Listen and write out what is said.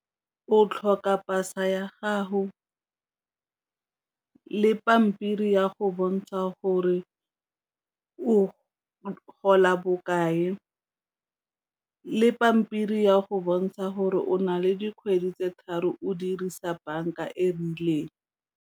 O tlhoka pasa ya gago le pampiri ya go bontsha gore o gola bokae, le pampiri ya go bontsha gore o na le dikgwedi tse tharo o dirisa banka e rileng.